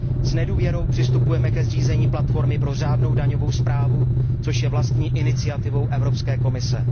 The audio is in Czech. S nedůvěrou přistupujeme ke zřízení platformy pro řádnou daňovou správu, což je vlastní iniciativou Evropské komise.